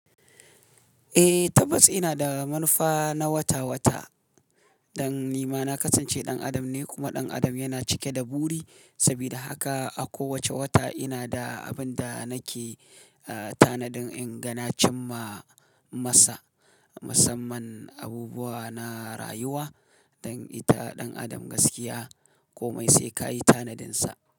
Eh, tabbas ina da manufa na wata-wata. Dan ni ma na kasance ɗan adam ne kuma ɗan adam yana cike da buri. Saboda haka a kowace wata ina da abin da nake, eh, tanadin in ga na cimma masa. Musamman abubuwa na rayuwa don ita ɗan adam gaskiya kome sai ka yi tanadinsa.